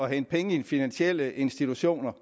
hente penge i finansielle institutioner